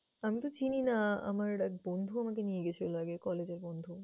আমি তো চিনিনা। আমার এক বন্ধু আমাকে নিয়ে গেছিলো আগে collage এর বন্ধু।